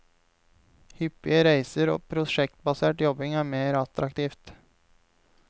Hyppige reiser og prosjektbasert jobbing er mer attraktivt.